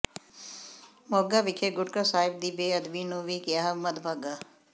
ਮੋਗਾ ਵਿਖੇ ਗੁਟਕਾ ਸਾਹਿਬ ਦੀ ਬੇਅਦਬੀ ਨੂੰ ਵੀ ਕਿਹਾ ਮੰਦਭਾਗਾ